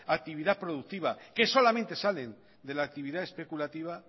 actividad productiva que solamente salen de la actividad especulativa